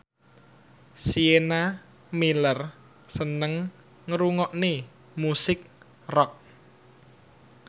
Sienna Miller seneng ngrungokne musik rock